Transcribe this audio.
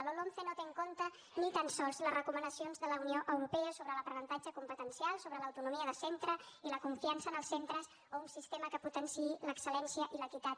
la lomce no té en compte ni tan sols les recomanacions de la unió europea sobre l’aprenentatge competencial sobre l’autonomia de centre i la confiança en els centres o un sistema que potenciï l’excel·lència i l’equitat